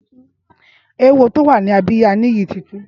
Éwó tó wà ni àbiyá Niyi ti tù